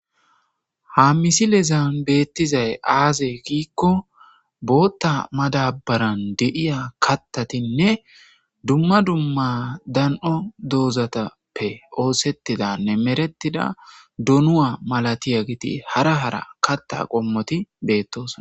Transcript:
Ha misilezan beettizay aaze giikko bootta madabaran de'iya kattatinne dumma dumma dan'o doozatappe oosettidanne meretida donuwa malatiyageti hara hara katta qommoti beettosna.